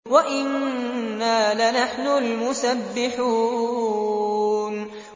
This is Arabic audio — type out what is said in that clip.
وَإِنَّا لَنَحْنُ الْمُسَبِّحُونَ